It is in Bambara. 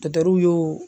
y'o